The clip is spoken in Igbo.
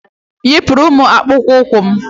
Yipụrụ m akpụkpọ ụkwụ m!